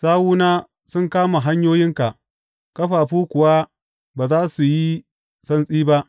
Sawuna sun kama hanyoyinka ƙafafu kuwa ba za su yi santsi ba.